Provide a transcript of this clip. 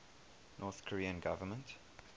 north korean government